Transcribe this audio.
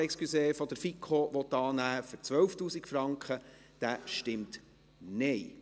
Wer den Mehrheitsantrag der FiKo auf 12 000 Franken annehmen will, stimmt Nein.